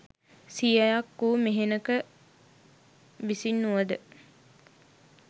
සියයක් වූ මෙහෙණක විසින් වුව ද